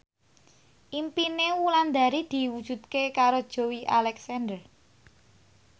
impine Wulandari diwujudke karo Joey Alexander